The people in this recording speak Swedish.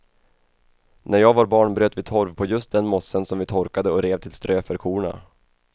När jag var barn bröt vi torv på just den mossen som vi torkade och rev till strö för korna.